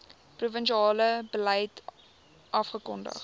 provinsiale beleid afgekondig